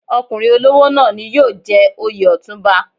Ọkùnrin olówó náà ni yóò jẹ oyè Ọ̀túnba.